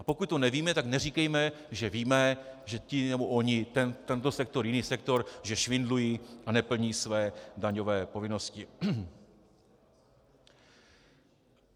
A pokud to nevíme, tak neříkejme, že víme, že ti nebo oni, tento sektor, jiný sektor, že švindlují a neplní své daňové povinnosti.